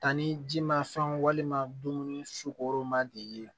Tan ni ji ma fɛnw walima dumuni fugo ma de ye